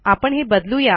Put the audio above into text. आपण हे बदलू या